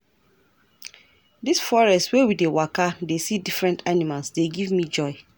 Dis forest wey we dey waka dey see different animals dey give me joy.